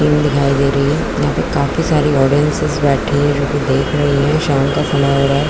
Film दिखाई दे रही है यहां पे काफी सारी ऑडियंसेस बैठी हुई देख रही है यहाँ पे शाम का समय हो रहा है।